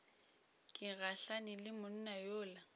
ke gahlane le monna yola